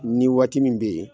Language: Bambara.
Ni waati min be yen